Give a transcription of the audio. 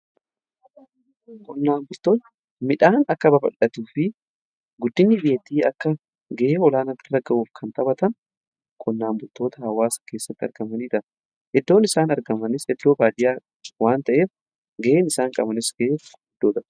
Qonnaan bultoon midhaan akka babal'atuu fi guddini biyyaa akka ga'e olaanaa bira ga'uuf kan taphatan qqnnaan bultoota hawaasa keessatti argaman. Iddoon isaan argamanis iddoo baadiyaa waan ta'eef ga'een isaan qabanis ga'e guddoota.